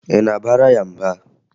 Ị na-abara ya mba?